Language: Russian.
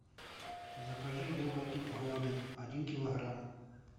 закажи яблоки голден один килограмм